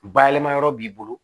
Bayɛlɛma yɔrɔ b'i bolo